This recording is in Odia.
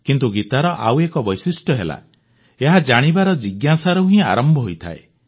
କିନ୍ତୁ ଗୀତାର ଆଉ ଏକ ବୈଶିଷ୍ଟ୍ୟ ହେଲା ଏହା ଜାଣିବାର ଜିଜ୍ଞାସାରୁ ହିଁ ଆରମ୍ଭ ହୋଇଥାଏ